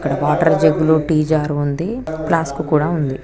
ఇక్కడ water jug లు tea jar ఉంది ప్లాస్క్ కూడా ఉందని